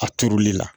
A turuli la